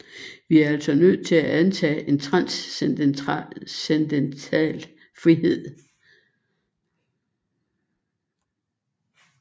Vi er altså nødt til at antage en transcendental frihed